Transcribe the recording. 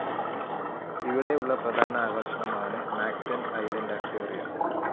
ഇവിടെ ഉള്ള പ്രധാന ആകർഷണം ആണ് മാക്ടൻ ഐസ്ലാൻഡ്‌ അക്വേറിയം